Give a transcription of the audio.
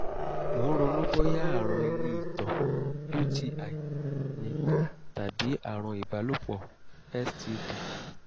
mò ń ronú bóyá àrùn ilé ìtọ̀ (uti) ni tàbí àrùn ìbálòpọ̀ (std)